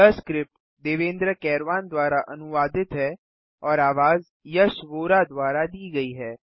यह स्क्रिप्ट देवेन्द्र कैरवान द्वारा अनुवादित है और आवाज यश वोरा द्वारा दी गई है